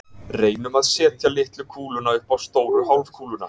Reynum að setja litlu kúluna upp á stóru hálfkúluna.